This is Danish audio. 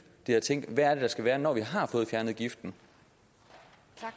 det er at tænke hvad er det der skal være når vi har fået fjernet giften det